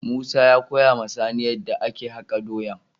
Musa ya koya ma sani yadda ake haka doyan.